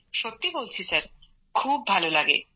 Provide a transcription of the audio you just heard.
সত্যি বলছি স্যার খুব ভালো লাগে